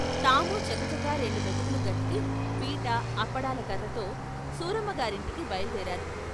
తామూ చకచకా రెండు మెతుకులు గతికి పీట, అప్పడాల కర్రతో సూరమ్మ గారింటికి బయలుదేరారు.